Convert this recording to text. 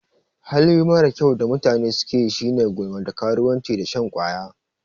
Hali marar kyau da mata sukeyi shine gulma, da karuwanci da shan ƙwaya.